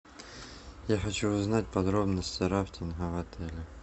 я хочу узнать подробности рафтинга в отеле